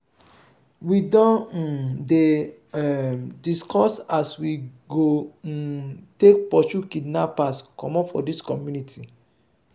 we don um dey um discuss as we go um take pursue kidnappers comot from dis community.